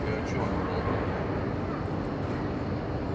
ты о чем обалдела я